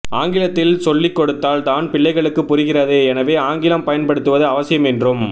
ஆங்கிலத்தில் சொல்லிகொடுத்தால் தான் பிள்ளைகளுக்கு புரிகிறது எனவே ஆங்கிலம் பயன்படுத்துவது அவசியம் என்றும்